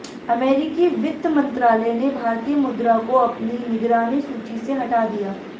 अमेरिकी वित्त मंत्रालय ने भारतीय मुद्रा को अपनी निगरानी सूची से हटा दिया